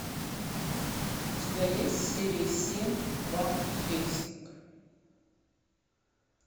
у тебя есть серия семь ван хельсинг